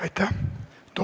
Aitäh!